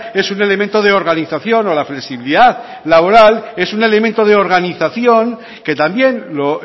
es un elemento de organización o la flexibilidad laboral es un elemento de organización que también lo